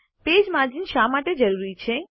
page margins શા માટે જરૂરી છે